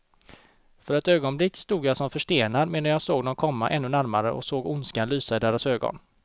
För ett ögonblick stod jag som förstenad, medan jag såg dem komma ännu närmare och såg ondskan lysa i deras ögon.